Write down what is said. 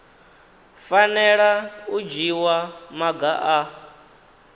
fanela u dzhiwa maga a